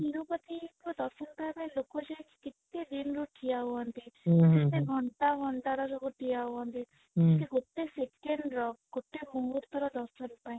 ତିରୁପତି ଙ୍କ ଦର୍ଶନ ପାଇବା ପାଇଁ ଲୋକ ଯାଇକି କେତେ ଦିନ ରୁ ଠିଆ ହୁଅନ୍ତି ଘଣ୍ଟା ଘଣ୍ଟା ର ଲୋକ ଠିଆ ହୁଅନ୍ତି ଗୋଟେ second ର ଗୋଟେ ମୁହୂର୍ତ୍ତ ର ଦର୍ଶନ ପାଇଁ